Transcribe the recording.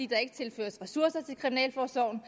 der ikke tilføres ressourcer til kriminalforsorgen